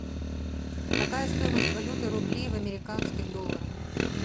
какая стоимость валюты рубли в американских долларах